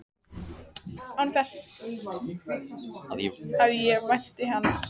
Án þess að ég vænti hans.